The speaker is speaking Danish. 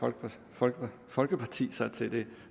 folkeparti sig til det